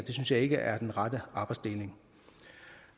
synes jeg ikke er den rette arbejdsdeling